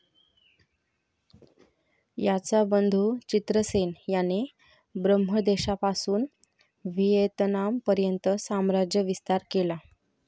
याचा बंधू चित्रसेन याने ब्रम्हदेशापासून व्हिएतनाम पर्यंत साम्राज्य विस्तार केला.